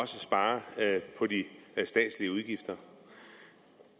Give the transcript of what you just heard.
spares på de statslige udgifter